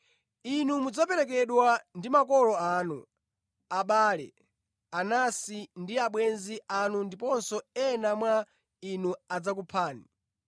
Inu mudzaperekedwa ndi makolo anu, abale, anansi ndi abwenzi anu ndipo ena mwa inu adzakuphani.